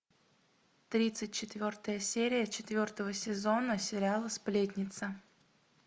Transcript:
тридцать четвертая серия четвертого сезона сериала сплетница